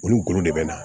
Olu golo de bɛ na